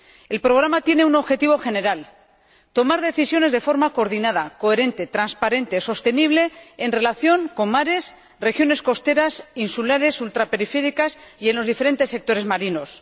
El programa tiene un objetivo general tomar decisiones de forma coordinada, coherente, transparente y sostenible en relación con mares, regiones costeras, insulares, ultraperiféricas y en los diferentes sectores marinos